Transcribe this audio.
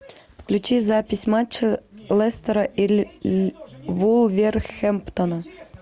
включи запись матча лестера и вулверхэмптона